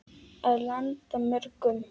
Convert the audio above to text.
Og landa mörgum.